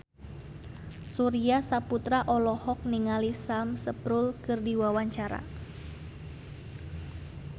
Surya Saputra olohok ningali Sam Spruell keur diwawancara